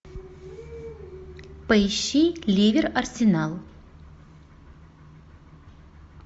поищи ливер арсенал